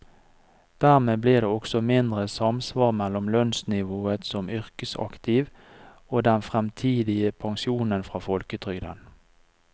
Dermed blir det også mindre samsvar mellom lønnsnivået som yrkesaktiv og den fremtidige pensjonen fra folketrygden.